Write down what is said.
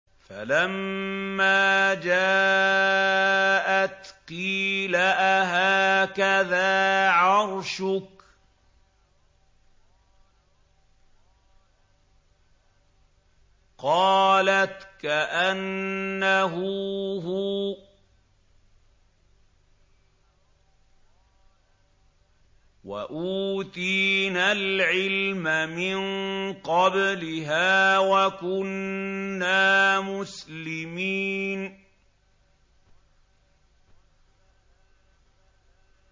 فَلَمَّا جَاءَتْ قِيلَ أَهَٰكَذَا عَرْشُكِ ۖ قَالَتْ كَأَنَّهُ هُوَ ۚ وَأُوتِينَا الْعِلْمَ مِن قَبْلِهَا وَكُنَّا مُسْلِمِينَ